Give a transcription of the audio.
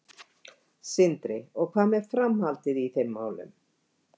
Sindri: Og hvað með framhaldið í þeim málum?